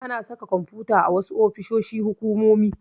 Ana sa kwamfuta a wasu ofisoshi hukumomi.